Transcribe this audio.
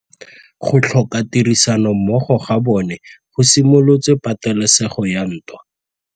Go tlhoka tirsanommogo ga bone go simolotse patêlêsêgô ya ntwa.